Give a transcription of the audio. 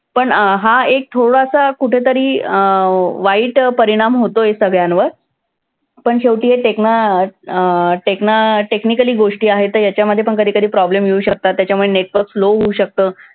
पण अं हा एक थोडासा कुठेतरी अं वाईट परिणाम होतोय सगळ्यांवर पण शेवटी अं technically गोष्टी आहेत. याच्यामध्ये पण कधी कधी problem येऊ शकतात. त्याच्यामुळे network slow होऊ शकतं.